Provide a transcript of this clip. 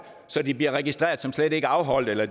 så de bliver registreret som værende slet ikke afholdt eller